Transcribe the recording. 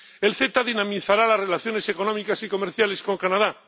El CETA dinamizará las relaciones económicas y comerciales con Canadá.